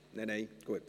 (– Nicht, gut.